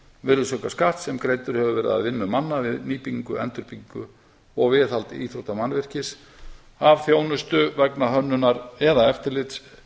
virðisaukaskatts sem greiddur hefur verið af vinnu manna við nýbyggingu endurbyggingu og viðhald íþróttamannvirkis af þjónustu vegna hönnunar eða eftirlits